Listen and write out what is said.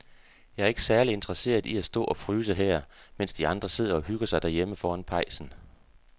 Jeg er ikke særlig interesseret i at stå og fryse her, mens de andre sidder og hygger sig derhjemme foran pejsen.